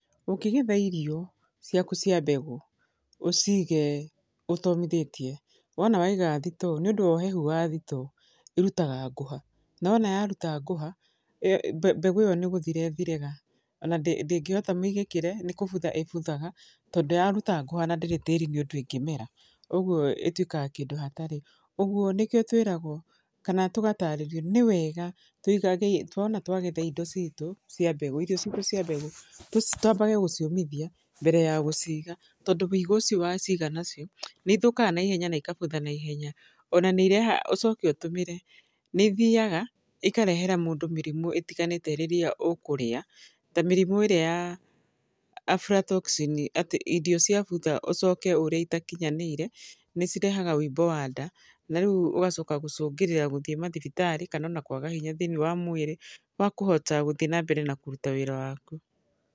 Ũkĩgetha irio ciaku cia mbegũ, ũcige ũtomithĩtie, wona waiga thitoo, nĩ ũndũ wa ũhehu wa thitoo, irutaga ngũha. Na wana yaruta ngũha, mbegũ ĩyo nĩ gũthira ĩthiraga. Ona ndĩngĩhota mĩigĩkĩre, nĩ kũbutha ĩbuthaga, tondũ yaruta ngũha na ndĩrĩ tĩri-inĩ ũndũ ĩngĩmera, ũguo ĩtuĩkaga kĩndũ hatarĩ. Ũguo, nĩkĩo tũĩragwo, kana tũgatarĩrio, nĩ wega tũigage tuona twagetha indo ciitũ cia mbegũ irio ciitũ cia mbegũ, twambage gũciũmithia, mbere ya gũciiga. Tondũ wĩigũ ũcio waciga nacio, nĩ ithũkaga naihenya na ikabutha naihenya. Ona nĩ irehaga, ũcoke ũtũmĩre, nĩ ithiaga, ikarehera mũndũ mĩrimũ ĩtiganĩte rĩrĩa ũkũrĩa, ta mĩrimũ ĩrĩa ya aflatoxin. Atĩ irio ciabutha ũcoke ũrĩe itakinyanĩire, nĩ cirehaga wĩimbo wa nda. Na rĩu ũgacoka gũcũngĩrĩra gũthi mathibitarĩ, kana ona kwaga hinya thĩiniĩ wa mwĩrĩ, wa kũhota gũthi na mbere kũruta wĩra waku.